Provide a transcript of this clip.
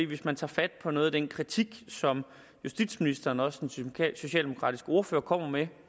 hvis man tager fat på noget af den kritik som justitsministeren og også den socialdemokratiske ordfører kommer med